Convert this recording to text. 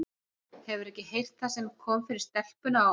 Hefurðu ekki heyrt það sem kom fyrir stelpuna á